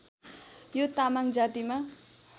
यो तामाङ जातिमा